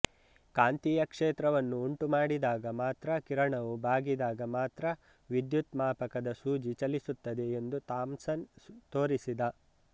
ಕಾಂತೀಯ ಕ್ಷೇತ್ರವನ್ನು ಉಂಟು ಮಾಡಿದಾಗ ಮಾತ್ರ ಕಿರಣವು ಬಾಗಿದಾಗ ಮಾತ್ರ ವಿದ್ಯುತ್ ಮಾಪಕದ ಸೂಜಿ ಚಲಿಸುತ್ತದೆ ಎಂದು ಥಾಮ್ಸನ್ ತೋರಿಸಿದ